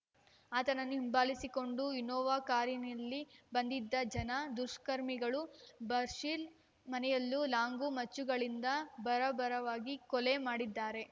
ಆತನನ್ನು ಹಿಂಬಾಲಿಸಿಕೊಂಡು ಇನ್ನೋವಾ ಕಾರಿನಿಲ್ಲಿ ಬಂದಿದ್ದ ಜನ ದುಷ್ಕರ್ಮಿಗಳು ಬಶೀರ್ ಮನೆಯಲ್ಲೇ ಲಾಂಗು ಮಚ್ಚುಗಳಿಂದ ಬರಬರವಾಗಿ ಕೊಲೆ ಮಾಡಿದ್ದಾರೆ